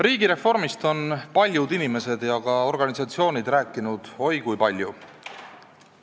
Riigireformist on paljud inimesed ja ka organisatsioonid rääkinud oi kui palju.